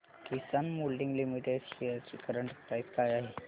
किसान Moulding Limited shares ची current price काय आहे